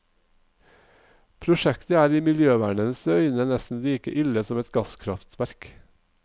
Prosjektet er i miljøvernernes øyne nesten like ille som et gasskraftverk.